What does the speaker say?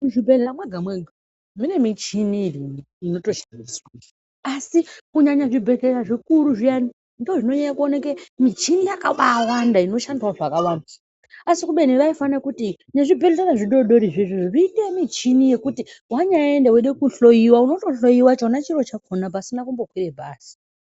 Muzvibhedhlera mwega mwega mune michini irimwo inotoshandiswa, asi kunyanya zvibhedhleya zvikuru zviyani ndizvo zvinonyanya kuwanike michino yakabaawanda inoshandawo zvakawanda, asi kubeni vaifana kuti nezvibhedhlera zvidodorizvo izvozvo, zviite michini yekuti wanyaenda weide kuhloyiwa unotohloyiwa chona chiro chakhona pasina kumbokwire bhazi.